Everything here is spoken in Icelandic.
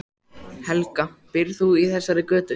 Helga: Býrð þú í þessari götu?